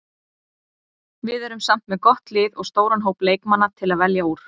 Við erum samt með gott lið og stóran hóp leikmanna til að velja úr.